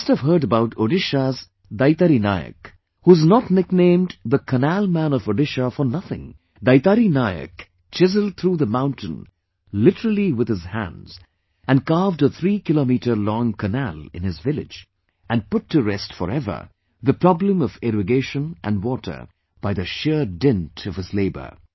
You must have heard about Odisha's DaitariNayak, who is not nicknamed the 'Canal Man of Odisha' for nothing, DaitariNayakchiselled through the mountain literally with his hands and carved a three kilometers long canal in his village, and put to restforever the problem of irrigation and water by the sheer dint of his labour